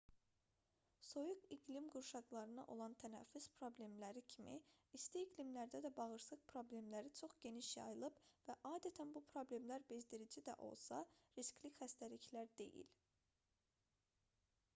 soyuq iqlim qurşaqlarına olan tənəffüs problemləri kimi isti iqlimlərdə də bağırsaq problemləri çox geniş yayılıb və adətən bu problemlər bezdirici də olsa riskli xəstəliklər deyil